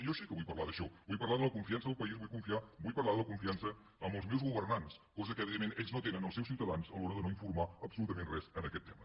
jo sí que vull parlar d’això vull parlar de la confiança del país vull parlar de la confiança en les meus governants cosa que evidentment ells no tenen els seus ciutadans a l’hora de no informar absolutament res en aquest tema